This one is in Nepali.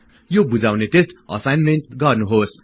यो बुझाउने टेस्ट असाईनमेन्ट गर्नुहोस्